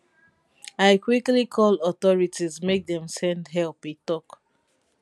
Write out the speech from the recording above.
i quickly call authorities make dem send help e tok